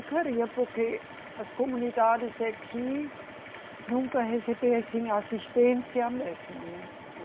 Eu queria porque as comunidades aqui nunca recebiam assim assistência mesmo, né?